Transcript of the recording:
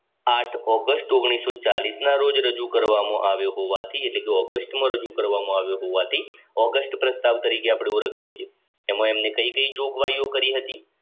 August ના રોજ રજૂ કરવામાં આવ્યો હોવાથી એટલે કે ઓગસ્ટમાં રજૂ કરવામાં આવ્યો હોવાથી ઓગસ્ટ પ્રસ્તાવ તરીકે આપણે ઓળખીએ છીએ એમાં એમને કઈ કઈ જોગવાઈઓ કરી હતી